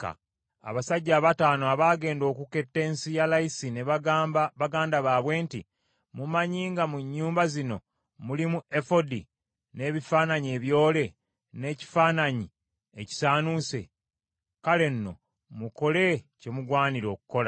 Abasajja abataano abaagenda okuketta ensi ya Layisi ne bagamba baganda baabwe nti, “Mumanyi nga mu nnyumba zino mulimu Efodi n’ebifaananyi ebyole n’ekifaananyi ekisaanuuse? Kale nno mukole kye mugwanira okukola.”